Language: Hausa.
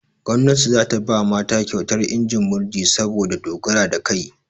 Gomnati za ta ba mata kyautar injin murji saboda dogaro da kai.